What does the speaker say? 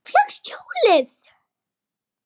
Þú fékkst hjólið!